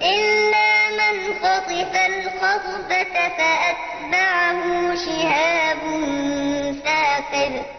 إِلَّا مَنْ خَطِفَ الْخَطْفَةَ فَأَتْبَعَهُ شِهَابٌ ثَاقِبٌ